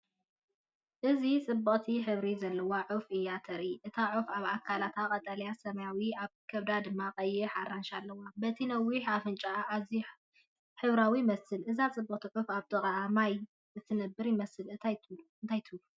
እዚ ጽብቕቲ ሕብሪ ዘለዋ ዑፍ እያ እተርኢ። እታ ዑፍ ኣብ ኣካላታ ቀጠልያን ሰማያውን፡ ኣብ ከብዳ ድማ ቀይሕን ኣራንሺን ኣለዋ። በቲ ነዊሕ ኣፍንጭኡ ኣዝዩ ሕብራዊ ይመስል። እዛ ጽብቕቲ ዑፍ ኣብ ጥቓ ማይ እትነብር ይመስለኒ፣ እንታይ ትብሉ?